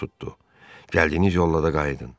Gəldiyiniz yolla da qayıdın.